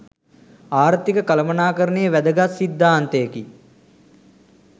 ආර්ථික කළමනාකරණයේ වැදගත් සිද්ධාන්තයකි.